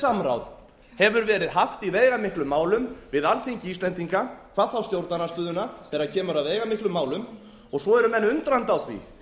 samráð hefur verið haft í veigamiklum málum við alþingi íslendinga hvað þá stjórnarandstöðuna þegar kemur að veigamiklum málum svo eru menn undrandi á því